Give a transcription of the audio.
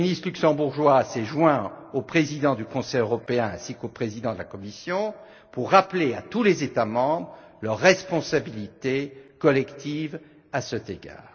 Le Premier ministre luxembourgeois s'est joint au président du Conseil européen ainsi qu'au président de la Commission pour rappeler à tous les États membres leur responsabilité collective à cet égard.